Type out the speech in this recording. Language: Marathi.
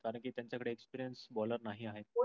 कारण कि तेंच्या कडे experience bowler नाही आहेत.